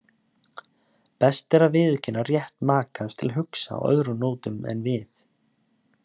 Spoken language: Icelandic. Best er að viðurkenna rétt makans til að hugsa á öðrum nótum en við.